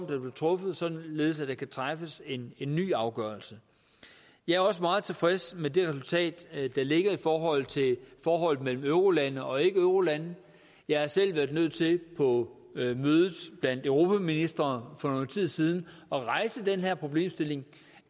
blev truffet således at der kan træffes en ny afgørelse jeg er også meget tilfreds med det resultat der ligger i forhold til forholdet mellem eurolande og ikkeeurolande jeg har selv været nødt til på mødet blandt europaministre for noget tid siden at rejse den her problemstilling